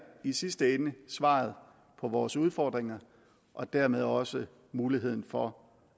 i sidste ende svaret på vores udfordringer og dermed også muligheden for